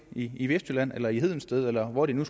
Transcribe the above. i vestjylland eller i hedensted eller hvor det nu